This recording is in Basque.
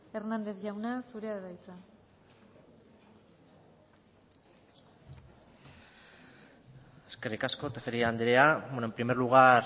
hernández jauna zurea da hitza eskerrik asko tejeria anderea en primer lugar